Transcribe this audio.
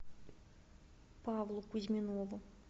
павлу кузьминову